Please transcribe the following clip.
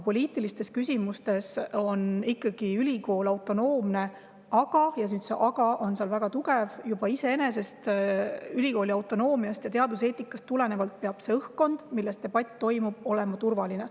Poliitilistes küsimustes on ülikool ikkagi autonoomne, aga – ja see "aga" on väga – iseenesest juba ülikooli autonoomiast ja teaduseetikast tulenevalt peab see õhkkond, milles debatt toimub, olema turvaline.